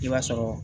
I b'a sɔrɔ